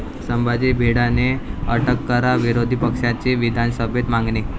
संभाजी भिडेंना अटक करा, विरोधीपक्षांची विभानसभेत मागणी